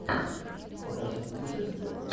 покажи путешествия